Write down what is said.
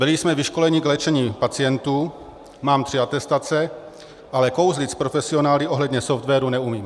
Byli jsme vyškoleni k léčení pacientů, mám tři atestace, ale kouzlit s profesionály ohledně softwaru neumím.